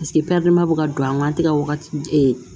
bɛ ka don a kan an tɛ ka wagati